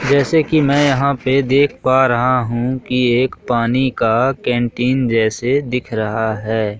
जैसे की मैं यहां पे देख पा रहा हूं की एक पानी का कैंटीन जैसे दिख रहा हैं।